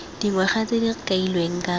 dingwaga tse di kailweng ka